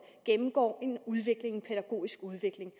gennemgår en pædagogisk udvikling